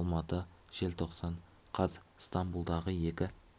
алматы желтоқсан қаз стамбулдағы екі